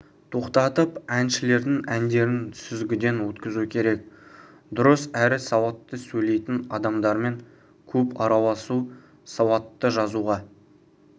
тоқтатып әншілердің әндерін сүзгіден өткізу керек дұрыс әрі сауатты сөйлейтін адамдармен көп араласу сауатты жазуға